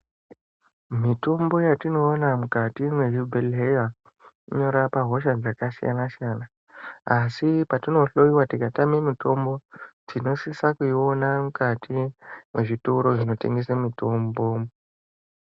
Mitombo yatinoona mukati mwezvibhehlerya inorapa hosha dzakasiyanasiyana, asi patinohloyiwa tikatame mitombo tinosise kuiona mukati mwezvitoro zvinotengese mitombo.